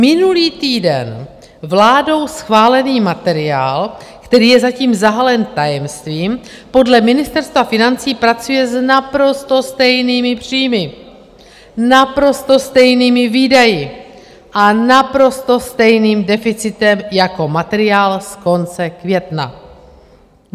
Minulý týden vládou schválený materiál, který je zatím zahalen tajemstvím, podle Ministerstva financí pracuje s naprosto stejnými příjmy, naprosto stejnými výdaji a naprosto stejným deficitem jako materiál z konce května.